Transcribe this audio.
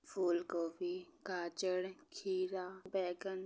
फूल गोभी गाजर खीरा बैंगन--